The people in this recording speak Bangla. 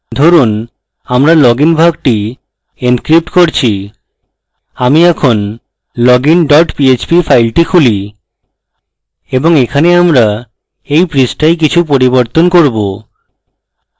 ধরুন এখন আমরা login ভাগটি encrypting করছি আমি এই login dot php file খুলি এবং এখানে আমরা এই পৃষ্ঠায় কিছু পরিবর্তন করব